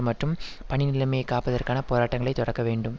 மற்றும் பணி நிலைமையை காப்பதற்கான போராட்டங்களை தொடக்க வேண்டும்